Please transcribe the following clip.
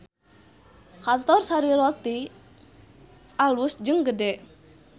Kantor Sari Roti alus jeung gede